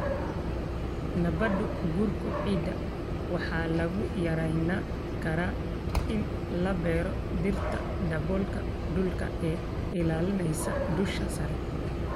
Nabaad guurka ciidda waxaa lagu yarayn karaa in la beero dhirta daboolka dhulka ee ilaalinaysa dusha sare.